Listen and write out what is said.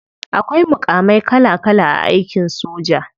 Akwai mukamai kala kala a aikin soja.